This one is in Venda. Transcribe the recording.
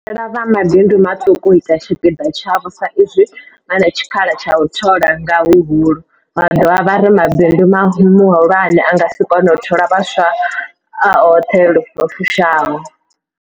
Vho humbela vha mabindu maṱuku u ita tshipiḓa tshavho sa izwi vha na tshikhala tsha u thola nga huhulu, vha dovha vha ri mabindu mahulwane a nga si kone u thola vhaswa a oṱhe lu fushaho.